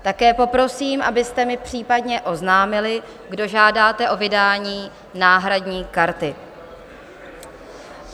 Také poprosím, abyste mi případně oznámili, kdo žádáte o vydání náhradní karty.